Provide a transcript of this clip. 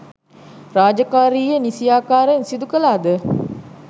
රාජකාරීය නිසියාකාරයෙන් සිදු කළාද